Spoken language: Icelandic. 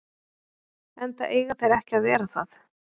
Enda eiga þeir ekki að vera það.